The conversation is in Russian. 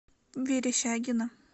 верещагино